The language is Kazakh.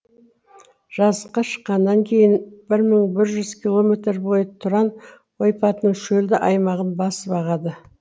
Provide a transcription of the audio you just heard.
жазыққа шыққаннан кейін бір мың бір жүз километр бойы тұран ойпатының шөлді аймағын басып ағады